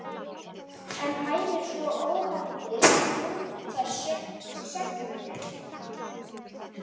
En hæfir svona óheflað umhverfi söngmönnum?